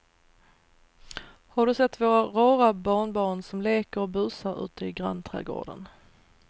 Har du sett våra rara barnbarn som leker och busar ute i grannträdgården!